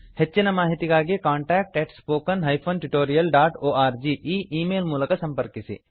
ಹೆಚ್ಚಿನ ಮಾಹಿತಿಗಾಗಿ contact spoken tutorialorg ಈ ಈ ಮೇಲ್ ಮೂಲಕ ಸಂಪರ್ಕಿಸಿ